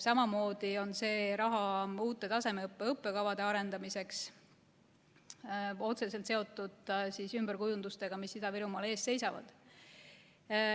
Samamoodi on see raha uute tasemeõppe õppekavade arendamiseks, otseselt seotud ümberkujundustega, mis Ida-Virumaal ees seisavad.